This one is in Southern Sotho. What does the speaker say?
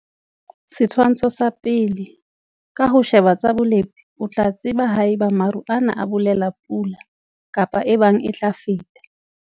Setshwantsho sa 1. Ka ho sheba tsa bolepi o tla tseba ha eba maru ana a bolela pula, kapa ebang e tla feta.